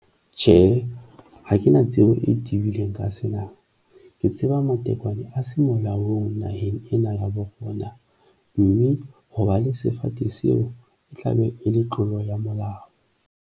Tjhe, ha ke na tsebo e tibileng ka sena. Ke tseba matekwane a semulla ho hong naheng ena ya borona, mme ho ba le sefate seo e tla be e le tlolo ya molao.